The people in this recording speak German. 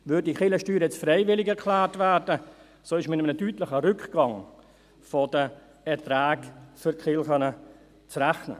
Würde diese Kirchensteuer für freiwillig erklärt, wäre mit einem deutlichen Rückgang der Erträge für die Kirchen zu rechnen.